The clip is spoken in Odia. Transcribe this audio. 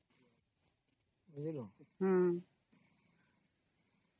noise